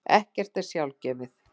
Ekkert er sjálfgefið.